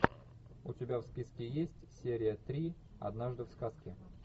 у тебя в списке есть серия три однажды в сказке